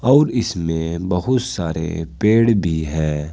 और इसमें बहुत सारे पेड़ भी है।